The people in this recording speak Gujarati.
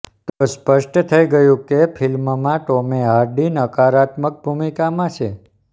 તો સ્પષ્ટ થઈ ગયું કે ફિલ્મમાં ટોેમ હાર્ડી નકારાત્મક ભૂમિકામાં છે